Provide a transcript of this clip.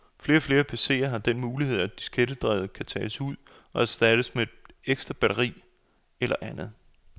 Flere og flere PCer har den mulighed, at diskettedrevet kan tages ud og erstattes med et ekstra batteri eller andet.